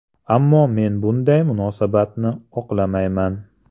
Ammo men bunday munosabatni oqlamayman.